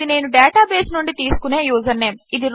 ఇది నేను డేటాబేస్ నుండి తీసుకునే యూజర్నేమ్